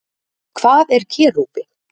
Hvað er kerúbi?